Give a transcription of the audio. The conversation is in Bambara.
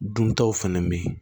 Duntaw fɛnɛ be yen